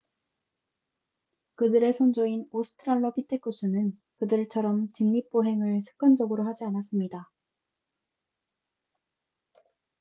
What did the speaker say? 그들의 선조인 오스트랄로 피테쿠스는 그들처럼 직립보행을 습관적으로 하지 않았습니다